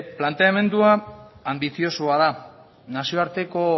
planteamendua anbiziosoa da nazioarteko